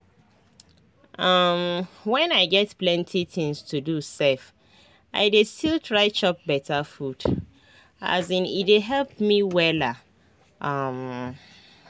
um when i get plenty things to do sef i dey still try chop beta food um e dey help me wella. um